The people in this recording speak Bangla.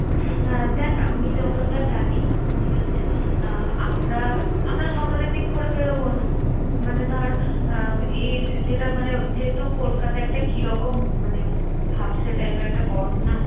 হ্যাঁ দেখ, আমি যতটা জানি ঠিক আছে! আহ আমরা আমরা সকালের দিক করে বেরোবো না। মানে ধর, আহ এই যেটা মানে যেহেতু কলকাতা একটা কিরকম মানে ভ্যাপসা type এর একটা গরম না?